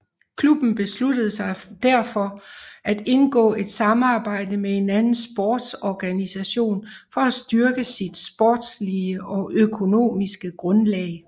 Klubben besluttede sig derfor at indgå et samarbejde med en anden sportsorganisation for at styrke sit sportslige og økonomiske grundlag